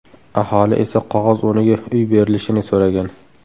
Aholi esa qog‘oz o‘rniga uy berilishini so‘ragan.